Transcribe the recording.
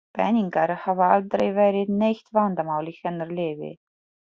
Peningar hafa aldrei verið neitt vandamál í hennar lífi.